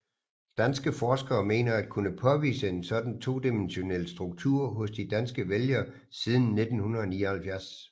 Danske forskere mener at kunne påvise en sådan todimensionel struktur hos de danske vælgere siden 1979